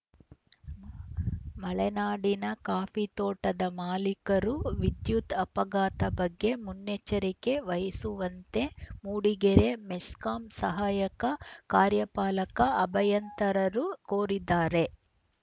ಮಲೆನಾಡಿನ ಕಾಫಿ ತೋಟದ ಮಾಲೀಕರು ವಿದ್ಯುತ್‌ ಅಪಘಾತ ಬಗ್ಗೆ ಮುನ್ನೆಚ್ಚರಿಕೆ ವಹಿಸುವಂತೆ ಮೂಡಿಗೆರೆ ಮೆಸ್ಕಾಂ ಸಹಾಯಕ ಕಾರ್ಯಪಾಲಕ ಅಭಯಂತರರು ಕೋರಿದ್ದಾರೆ